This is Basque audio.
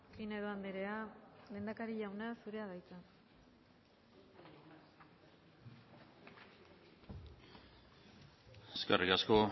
pinedo andrea lehendakari jauna zurea da hitza eskerrik asko